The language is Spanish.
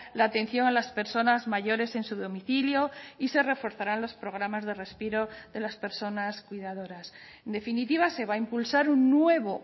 la atención a las personas mayores en su domicilio y se reforzarán los programas de respiro de las personas cuidadoras en definitiva se va a impulsar un nuevo